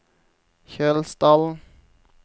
Kjølsdalen